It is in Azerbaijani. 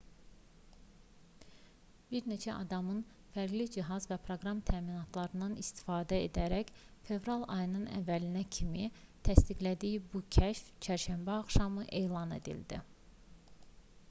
bir neçə adamın fərqli cihaz və proqram təminatlarından istifadə edərək fevral ayının əvvəlinə kimi təsdiqlədiyi bu kəşf çərşənbə axşamı elan edildi